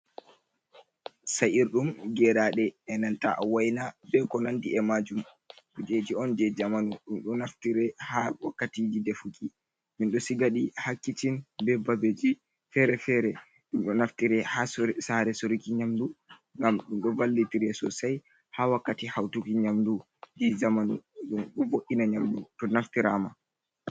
Sa’irɗum geraɗe e nanta a waina be ko nandi e majum, kujeji on je zamanu ɗum ɗo naftire ha wakkati ji defuki min ɗo siga ɗi ha kicin be babeji fere-fere, ɗum ɗo naftire ha sare soruki nyamdu ngam ɗu ɗo valli tire sosai ha wakkati hautuki nyamdu je zamanu, ɗum ɗo vo’’ina nyamdu ɗo naftirama.